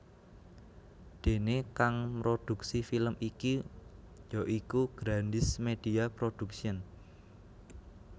Déné kang mrodhuksi film iki ya iku Grandiz Media Production